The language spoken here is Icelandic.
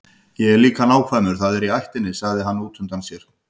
Ég er líka nákvæmur, það er í ættinni, sagði hann útundann sér.